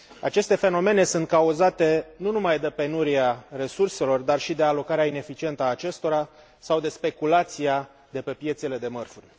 Aceste fenomene sunt cauzate nu numai de penuria resurselor dar și de alocarea ineficientă a acestora, sau de speculația de pe piețele de mărfuri.